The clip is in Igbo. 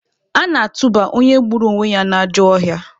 A na-atụba onye gburu onwe ya n'ajọ ọhịa.